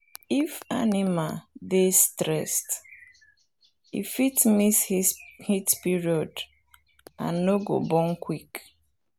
if animal dey stressed e fit miss heat period and no go born quick.